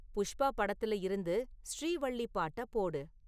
புஷ்பா படத்துல இருந்து 'ஸ்ரீவள்ளி' பாட்டப் போடு